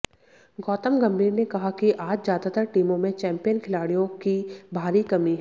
गौतम गंभीर ने कहा कि आज ज्यादातर टीमों में चैंपियन खिलाड़ियों की भारी कमी है